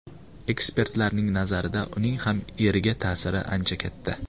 Ekspertlarning nazarida, uning ham eriga ta’siri ancha katta.